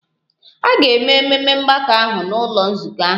A ga-eme ememe mgbakọ ahụ n'ụlọ nzukọ ahụ.